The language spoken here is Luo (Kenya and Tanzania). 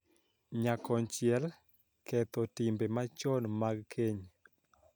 Nyakonchiel, ketho timbe machon mag keny .